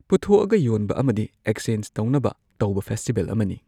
ꯄꯨꯊꯣꯛꯑꯒ ꯌꯣꯟꯕ ꯑꯃꯗꯤ ꯑꯦꯛꯆꯦꯟꯁ ꯇꯧꯅꯕ ꯇꯧꯕ ꯐꯦꯁꯇꯤꯕꯦꯜ ꯑꯃꯅꯤ